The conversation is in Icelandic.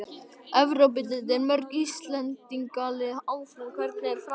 Evrópudeildin: Mörg Íslendingalið áfram- Hvernig er framhaldið?